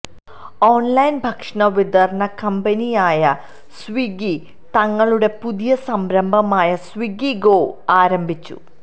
online ഭക്ഷണവിതരണ കമ്പനിയായ Swiggy തങ്ങളുടെ പുതിയ സംരംഭമായ സ്വിഗി ഗോ ആരംഭിച്ചു